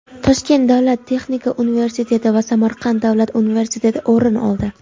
Toshkent davlat texnika universiteti va Samarqand davlat universiteti o‘rin oldi.